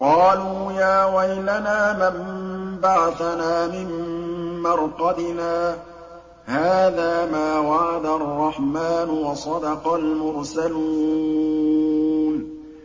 قَالُوا يَا وَيْلَنَا مَن بَعَثَنَا مِن مَّرْقَدِنَا ۜۗ هَٰذَا مَا وَعَدَ الرَّحْمَٰنُ وَصَدَقَ الْمُرْسَلُونَ